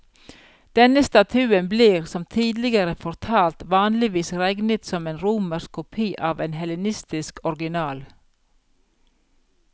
Denne statuen blir, som tidligere fortalt, vanligvis regnet som en romersk kopi av en hellenistisk original.